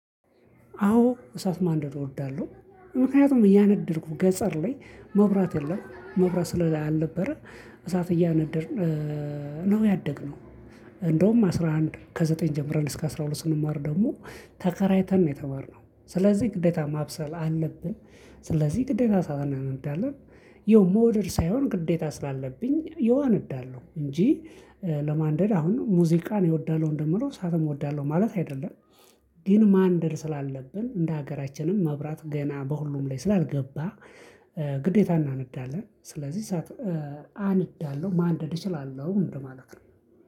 አዎ እሳት ማንደድ እወዳለሁ ምክንያቱም እያነደድኩ ገጠር ላይ መብራት የለም መብራት ስላልነበረ እሳት እያነደድን ነው ያደግነው። እንደውም አስራ አንድ ከዘጠኝ ጀምረን እስከ አስራ ሁለት ስንማር ደግሞ ተከራይተን ነው የተማርነው ስለዚህ ግዴታ ማብሰል አለብን። ስለዚህ ግዴታ እሳት እናነዳለን። ያው መውደድ ሳይሆን ግዴታ ስላለብኝ ያው አነዳለሁ እንጂ ለማንደድ ሙዚቃ እኔ እወዳለሁ እንደምለው እሳትም እወዳለሁ ማለት አይደለም። ግን ማንደድ ስላለብን እንደ ሀገራችንም መብራት ገና በሁሉም ላይ ስላልገባ። ግዴታ እናነዳለን ስለዚህ እሳት አነዳለሁ ማንደድ እችላለሁ እንደማለት ነው።